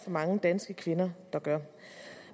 mange danske kvinder der gør